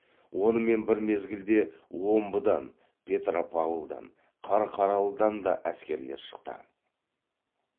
онымен бір мезгілде омбыдан петропавлдан қарқаралыдан да әскерлер шықты